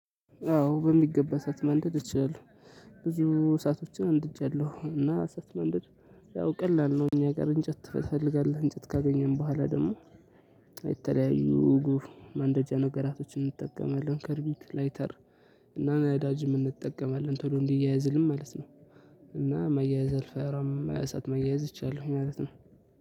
አዎ በሚገባ እሳት መንደድ እችላለሁ። ብዙ እሳቶችን አንድጃለሁ እና እሳት ማንደድ። ያው ቀላል ነው እኛ ጋር እንጨት ትፈልጋለህ እንጨት ካገኘን በኋላ ደግሞ። የተለያዩ ጉፍ ማንደጃ ነገራቶችን እንጠቀማለን ከርቢት ላይተር እና ናዳጅም እንጠቀማለን ቶሎ እንዲያየዝልን ማለት ነው። እና መያያዝ አልፈራም እሳት መያያዝ እችላለሁ ማለት ነው።